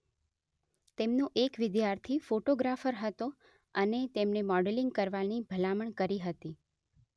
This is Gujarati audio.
તેમનો એક વિદ્યાર્થી ફોટોગ્રાફર હતો અને તેમને મોડલિંગ કરવાની ભલામણ કરી હતી